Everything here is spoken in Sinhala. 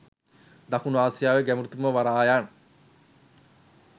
දකුණු ආසියාවේ ගැඹුරුතම වරායන්